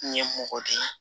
N ye mɔgɔ de ye